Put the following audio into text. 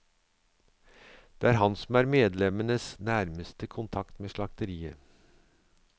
Det er han som er medlemmenes nærmeste kontakt med slakteriet.